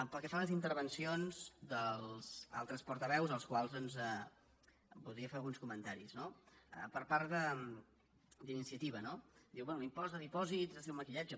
pel que fa a les intervencions dels altres portaveus als quals doncs voldria fer alguns comentaris no per part d’iniciativa no diu bé l’impost de dipòsits és un maquillatge